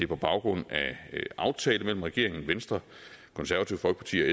på baggrund af en aftale mellem regeringen venstre konservative folkeparti